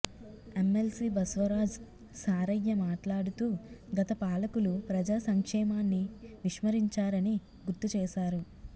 MLC Baswaraj Saraiah మాట్లాడుతూ గత పాలకులు ప్రజాసంక్షేమాన్ని విస్మరించారని గుర్తు చేశారు